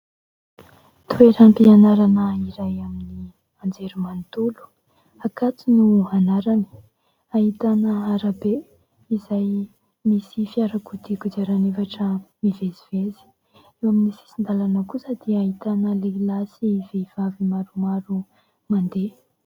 Toeram-pianarana iray amin'ny anjery manontolo, Ankatso no anarany. Ahitana arabe izay misy fiarakodia kodiarana efatra mivezivezy. Eo amin'ny sisin-dalana kosa dia ahitana lehilahy sy vehivavy maromaro mandeha.